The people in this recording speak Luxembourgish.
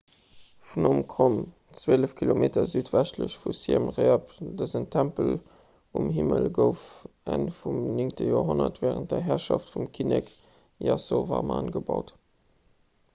phnom krom 12 km südwestlech vu siem reap dësen tempel um hiwwel gouf enn vum 9 joerhonnert wärend der herrschaft vum kinnek yasovarman gebaut